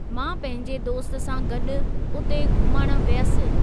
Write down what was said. मां पंहिंजे दोस्त सां गॾु उते घुमणु वियसि।